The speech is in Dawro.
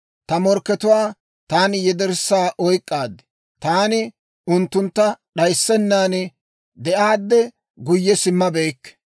Ta morkkatuwaa taani yederssa oyk'k'aad; taani unttuntta d'ayissennan de'aadde guyye simmabeykke.